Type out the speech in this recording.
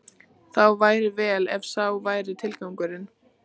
Þá væri vel, ef sá væri tilgangurinn.